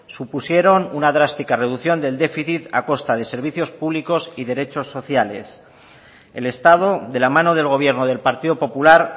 supusieron una drástica reducción de déficit a costa de servicios públicos y derecho sociales el estado de la mano del gobierno del partido popular